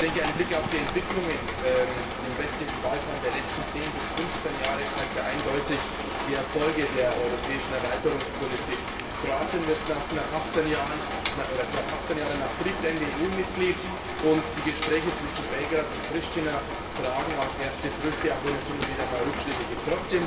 Ich denke, ein Blick auf die Entwicklungen im westlichen Balkan der letzten zehn bis fünfzehn Jahre zeigt ja eindeutig die Erfolge der europäischen Erweiterungspolitik. Kroatien wird knapp 18 Jahre nach Kriegsende EU Mitglied, und die Gespräche zwischen Belgrad und Priština tragen auch erste Früchte, auch wenn es hin und wieder einmal Rückschläge gibt.